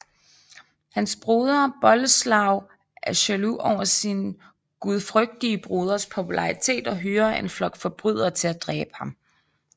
Hans broder Boleslav er jaloux over sin gudfrygtige broders popularitet og hyrer en flok forbrydere til at dræbe ham